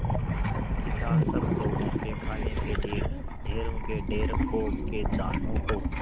किसान सब लोगों के खाने के लिए ढेरों के ढेर पोंख के दानों को